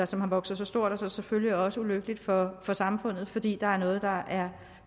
som har vokset sig stort og selvfølgelig også ulykkeligt for for samfundet fordi der er noget der er